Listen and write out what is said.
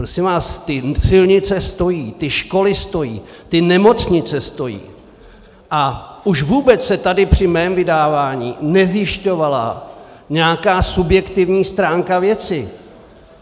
Prosím vás, ty silnice stojí, ty školy stojí, ty nemocnice stojí, a už vůbec se tady při mém vydávání nezjišťovala nějaká subjektivní stránka věci.